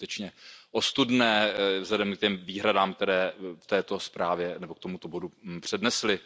To je skutečně ostudné vzhledem k těm výhradám, které k této zprávě nebo k tomuto bodu přednesli.